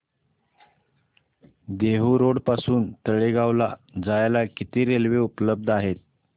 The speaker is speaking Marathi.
देहु रोड पासून तळेगाव ला जायला किती रेल्वे उपलब्ध आहेत